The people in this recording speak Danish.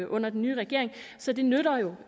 under den nye regering så det nytter jo